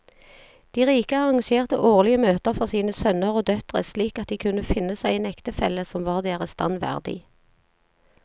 De rike arrangerte årlige møter for sine sønner og døtre slik at de kunne finne seg en ektefelle som var deres stand verdig.